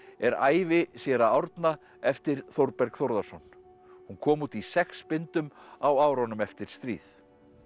er ævi séra Árna eftir Þórberg Þórðarson hún kom út í sex bindum á árunum eftir stríð